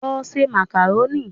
Lọ se màkàrónì!